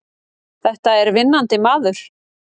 Þetta er vinnandi maður!